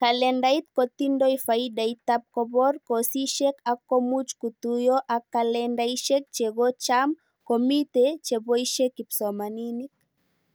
Kalendait kotindoi faidaitab kobor kosishek ak much kituyo ak kalendaishek chekocham komite cheboishe kipsomanink